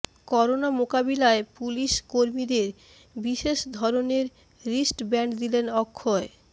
corona মোকাবিলায় police কর্মীদের বিশেষ ধরনের রিস্ট ব্যান্ড দিলেন অক্ষয়